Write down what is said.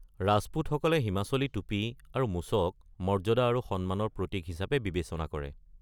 ৰাজপুতসকলে হিমাচলি টুপি আৰু মোচক মৰ্য্যাদা আৰু সন্মানৰ প্ৰতিক হিচাপে বিবেচনা কৰে।